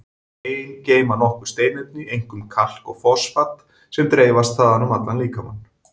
Bein geyma nokkur steinefni, einkum kalk og fosfat, sem dreifast þaðan um allan líkamann.